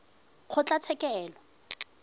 kgotlatshekelo